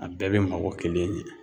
A bɛɛ be mako kelen ɲɛ.